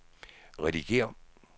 redigér